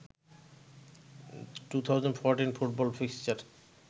2014 football fixture